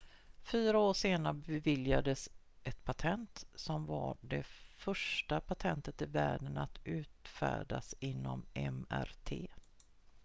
fyra år senare beviljades ett patent som var det första patentet i världen att utfärdas inom mrt